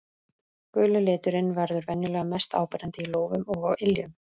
Guli liturinn verður venjulega mest áberandi í lófum og á iljum.